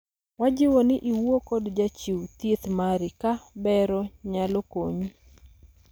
wajiwo ni iwuo kod jachiw thieth mari ka bero nyalo konyi